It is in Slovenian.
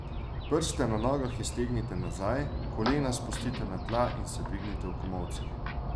Prste na nogah iztegnite nazaj, kolena spustite na tla in se dvignite v komolcih.